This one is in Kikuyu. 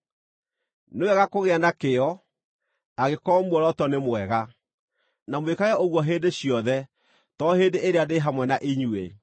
Nĩ wega kũgĩa na kĩyo, angĩkorwo muoroto nĩ mwega, na mwĩkage ũguo hĩndĩ ciothe to hĩndĩ ĩrĩa ndĩ hamwe na inyuĩ.